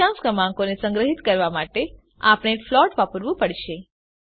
દશાંશ ક્રમાંકોને સંગ્રહીત કરવા માટે આપણે ફ્લોટ વાપરવું પડશે